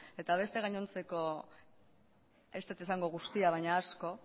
eta beste gainontzeko ez dut esango guztia baina asko